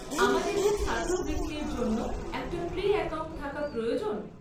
আমাদের কি ছাত্রবৃত্তির জন্য একটা প্রিঅ্যাকাউন্ট থাকা প্রয়োজন?